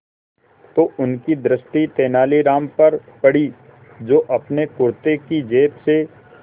तो उनकी दृष्टि तेनालीराम पर पड़ी जो अपने कुर्ते की जेब से